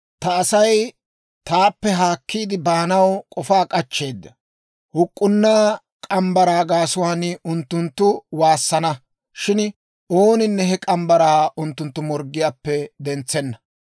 Ta Asay taappe haakkiide baanaw k'ofaa k'achcheedda. Huk'k'unnaa morgge mitsaa gaasuwaan unttunttu waassana; shin ooninne he morgge mitsaa unttunttu morggiyaappe dentsenna.